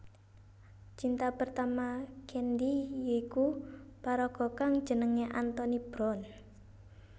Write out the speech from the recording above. Cinta pertama Candy yiku paraga kang jenenge Anthony Brown